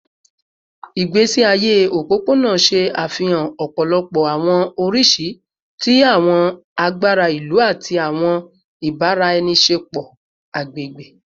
Igbesi aye opopona ṣe afihan ọpọlọpọ awọn oriṣi ti awọn agbara ilu ati awọn ibaraenisepo agbegbe